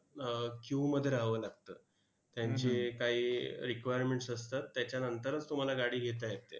अह queue मध्ये राहावं लागतं. त्यांचे काही requirements असतात, त्याच्यानंतरच तुम्हाला गाडी घेता येते.